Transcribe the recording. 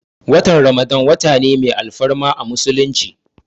Watan ramadan wata ne mai alfarma a musulunci